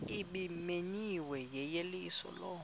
ebimenyiwe yeyeliso lo